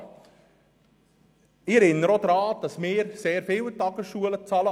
Ich erinnere auch daran, dass wir sehr viel an die Tagesschulen zahlen.